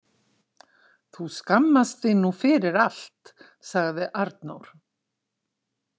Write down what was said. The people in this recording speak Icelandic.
Þú skammast þín nú fyrir allt, sagði Arnór.